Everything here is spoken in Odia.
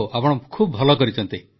ହଉ ଆପଣ ଭଲ କରିଛନ୍ତି